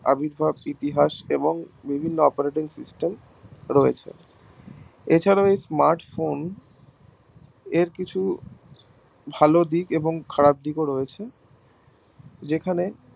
আবির্ভাব ইতিহাস এবং ভিন্ন operating system রয়েছে এছাড়া ওই smart phone এর কিছু ভালো দিক এবং খারাপ দিক ও রয়েছে যেখানে